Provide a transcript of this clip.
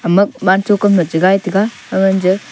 ama wancho kam e chigai taiga aganje--